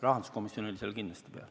Rahanduskomisjon oli seal kindlasti.